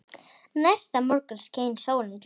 Næsta morgun skein sólin glatt.